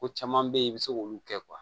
Ko caman be ye i be se k'olu kɛ